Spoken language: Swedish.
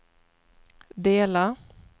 dela